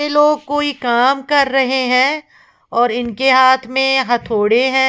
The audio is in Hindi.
ये लोग कोई काम कर रहे हैं और इनके हाथ में हथौड़े हैं।